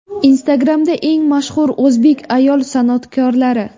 Instagram’da eng mashhur o‘zbek ayol san’atkorlari .